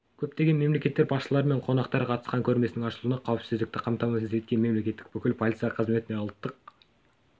көптеген мемлекеттер басшылары мен қонақтар қатысқан көрмесінің ашылуында қауіпсіздікті қамтамасыз еткен еліміздің бүкіл полиция қызметіне ұлттық